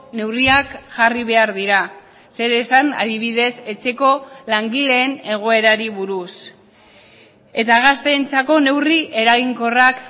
neurriak jarri behar dira zer esan adibidez etxeko langileen egoerari buruz eta gazteentzako neurri eraginkorrak